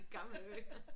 I gamle dage